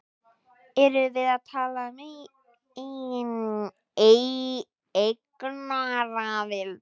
Erum við að tala um eignaraðild?